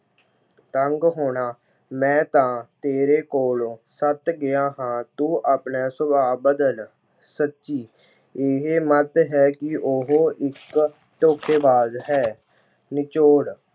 ਤੰਗ ਹੋਣਾ- ਮੈਂ ਤਾ ਤੇਰੇ ਕੋਲੋਂ ਤੱਤ ਗਿਆ ਹਾਂ, ਤੂੰ ਆਪਣਾ ਸੁਭਾਅ ਬਦਲ। ਸੱਚੀ- ਇਹ ਮੱਤ ਹੈ ਉਹ ਇੱਕ ਧੋਖੇਬਾਜ਼ ਹੈ। ਨਿਚੋੜ-